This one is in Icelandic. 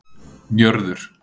Njörður